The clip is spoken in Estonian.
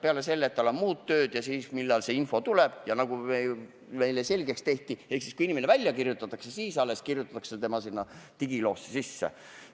Peale selle, et tal on muud tööd teha, võtab ka info tulemine aega, nagu meile selgeks tehti – alles siis, kui inimene haiglast välja kirjutatakse, jõuab see tema digiloosse.